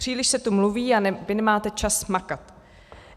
Příliš se tu mluví a vy nemáte čas makat.